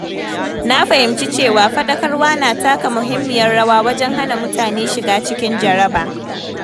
Na fahimci cewa fadakarwa na taka muhimmiyar rawa wajen hana mutane shiga cikin jaraba.